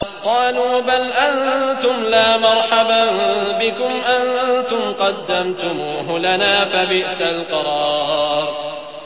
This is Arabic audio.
قَالُوا بَلْ أَنتُمْ لَا مَرْحَبًا بِكُمْ ۖ أَنتُمْ قَدَّمْتُمُوهُ لَنَا ۖ فَبِئْسَ الْقَرَارُ